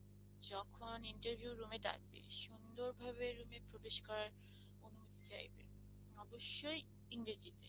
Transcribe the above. যখন interview room এ ডাকবে সুন্দর ভাবে রুমে প্রবেশ করার অনুরোধ চাইবে অবশ্যই ইংরেজিতে।